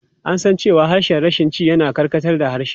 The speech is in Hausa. An san cewa harshen Rashanci yana karkatar da harshe.